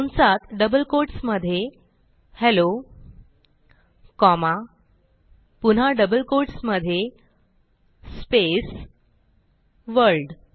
कंसात double quotes मधे hello comma पुन्हा डबल कोट्स मधे स्पेस वर्ल्ड